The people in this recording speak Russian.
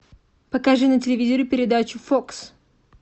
покажи на телевизоре передачу фокс